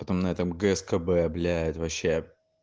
на этом гскб блять вообще